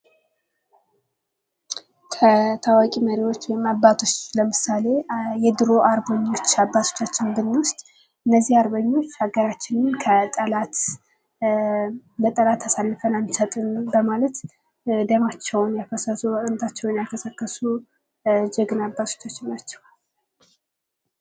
ታዋቂ መሪዎች ወይም አባቶች ለምሳሌ የድሮ አርበኞች አባቶቻችንን ብንወስድ እነዚህ አርበኞች ሀገራችንን ከጠላት አንሰጥም በማለት ደማቸውን ያፈሰሱ አጥንታቸውን የከሰከሱ ጀግና አባቶቻችን ናቸው::